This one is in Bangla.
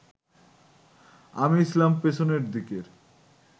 আমি ছিলাম পেছনের দিকের